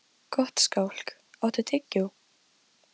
Hann stansaði og hugsaði sig um svolitla stund.